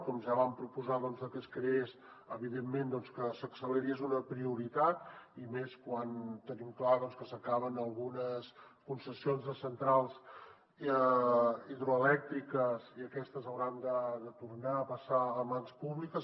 com ja vam proposar que es creés evidentment doncs que s’acceleri és una prioritat i més quan tenim clar que s’acaben algunes concessions de centrals hidroelèctriques i aquestes hauran de tornar a passar a mans públiques